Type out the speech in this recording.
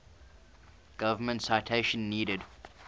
government citation needed